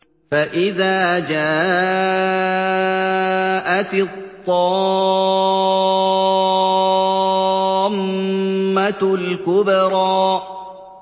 فَإِذَا جَاءَتِ الطَّامَّةُ الْكُبْرَىٰ